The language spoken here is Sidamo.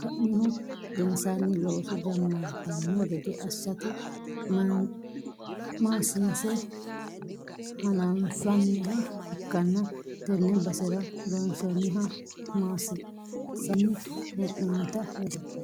ka'nihu gedensaanni looso jammartanno gede assate maasiinse fannanniha ikkanna, tenne basera loonsoonniha maasiinsanni hee'noonnita leelishshanno.